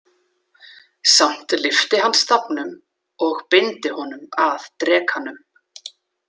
Samt lyfti hann stafnum og beindi honum að drekanum.